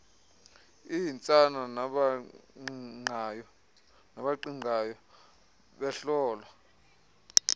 iintsana nabaqingqayo behlolwa